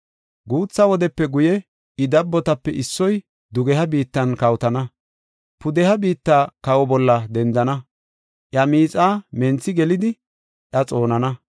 “Guutha wudepe guye, I dabbotape issoy dugeha biittan kawotana. Pudeha biitta kawa bolla dendana; iya miixaa menthi gelidi iya xoonana.